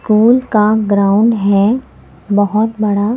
phone का ground है बहुत बड़ा--